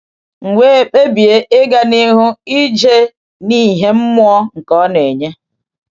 M wee kpebie ịga n’ihu ije n’ìhè mmụọ nke Ọ na-enye.